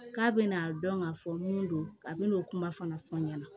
K'a bɛna dɔn k'a fɔ mun don a bɛna kuma fana fɔ n ɲɛna